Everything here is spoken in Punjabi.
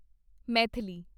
ਮੈਥਿਲੀ